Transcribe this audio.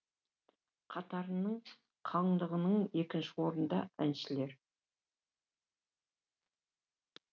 қатарының қалыңдығынан екінші орында әншілер